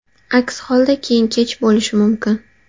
Aks holda keyin kech bo‘lishi mumkin.